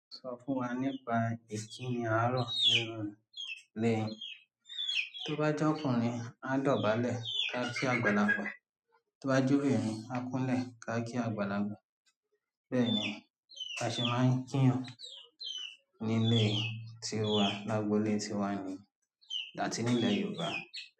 Sọ fún wa nípa ìkíni àárò nínú ilé yín tí ó bá je ọkùnrin, áá dọ̀bálẹ̀ áá kí àgbàlagbà, tí ó bá jẹ́ obìnrin áá kúnlẹ̀ áá kí àgbàlagbà. Bẹ́ẹ̀ ni a ṣe máa ń kíìyàn nílé ti wa l'ágbo ilé ti wa nìí áti nílẹ̀ Yorùbá.